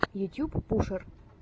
ютьюб пушер